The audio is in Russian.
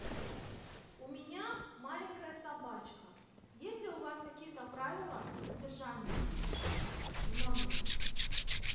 у меня маленькая собачка есть ли у вас какие то правила содержания в номере